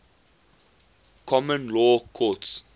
common law courts